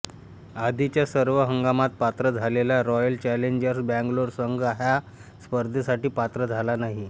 आधीच्या सर्व हंगामात पात्र झालेला रॉयल चॅलेंजर्स बंगलोरचा संघ ह्या स्पर्धे साठी पात्र झाला नाही